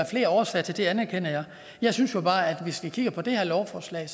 flere årsager til det anerkender jeg jeg synes jo bare at hvis vi kigger på det her lovforslag